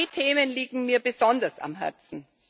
Zwei Themen liegen mir besonders am Herzen.